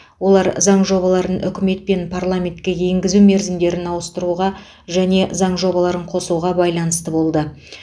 олар заң жобаларын үкімет пен парламентке енгізу мерзімдерін ауыстыруға және заң жобаларын қосуға байланысты болды